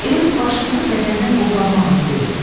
Elə bil başımızı bədəndən qoparmaq istəyir.